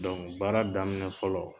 baara daminɛ fɔlɔ